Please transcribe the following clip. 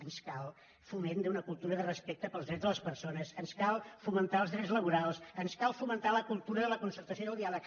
ens cal el foment d’una cultura de respecte pels drets de les persones ens cal fomentar els drets laborals ens cal fomentar la cultura de la concertació i del diàleg